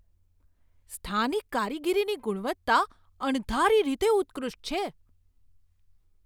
સ્થાનિક કારીગરીની ગુણવત્તા અણધારી રીતે ઉત્કૃષ્ટ છે.